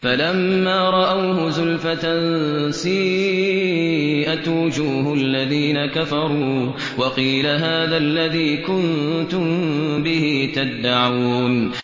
فَلَمَّا رَأَوْهُ زُلْفَةً سِيئَتْ وُجُوهُ الَّذِينَ كَفَرُوا وَقِيلَ هَٰذَا الَّذِي كُنتُم بِهِ تَدَّعُونَ